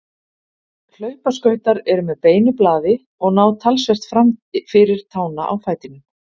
hlaupaskautar eru með beinu blaði og ná talsvert fram fyrir tána á fætinum